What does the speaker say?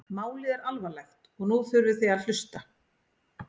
Málið er alvarlegt og nú þurfið þið að hlusta?